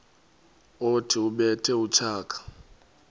othi ubethe utshaka